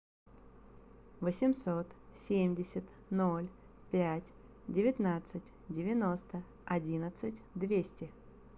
восемьсот семьдесят ноль пять девятнадцать девяносто одиннадцать двести